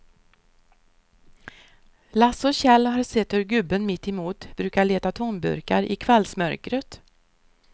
Lasse och Kjell har sett hur gubben mittemot brukar leta tomburkar i kvällsmörkret.